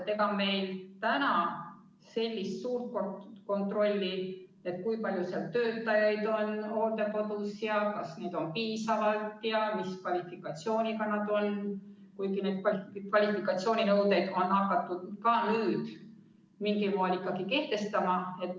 Ega meil praegugi sellist suurt kontrolli ei ole, näiteks selle kohta, kui palju on hooldekodus töötajaid, kas neid on piisavalt ja mis kvalifikatsiooniga nad on, kuigi kvalifikatsiooninõudeid on hakatud ka nüüd mingil moel ikkagi kehtestama.